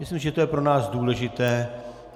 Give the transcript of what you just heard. Myslím, že to je pro nás důležité.